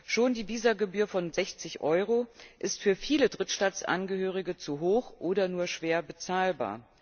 Schon die Visagebühr von 60 Euro ist für viele Drittstaatangehörige zu hoch oder nur schwer bezahlbar.